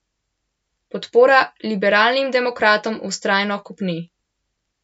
Podpora liberalnim demokratom vztrajno kopni.